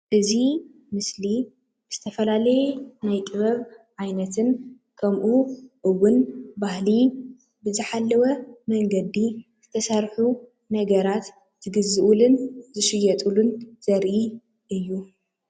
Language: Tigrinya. እዚ ምስሊ ዝተፈላለየ ናይ ጥበብ ዓይነትን ከምኡ እውን ባህሊ ብዝሓለወ መንገዲ ዝተሰርሑ ነገራት ዝግዝኡሉን ዝሽየጥሉን ዘርኢ እዩ ።